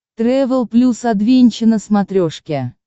трэвел плюс адвенча на смотрешке